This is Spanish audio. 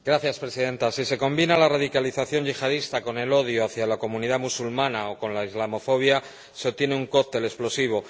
Señora Presidenta, si se combina la radicalización yihadista con el odio hacia la comunidad musulmana o con la islamofobia, se tiene un cóctel explosivo.